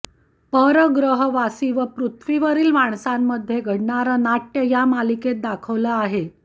परग्रहवासी व पृथ्वीवरील माणसांमध्ये घडणारं नाटय़ या मालिकेत दाखवलं आहे